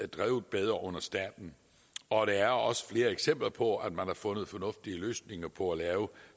drevet bedre under staten og der er også flere eksempler på at man har fundet fornuftige løsninger på at lave